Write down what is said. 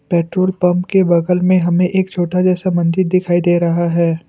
Petrol pump के बगल में हमें एक छोटा सा मंदिर दिखाई दे रहा है।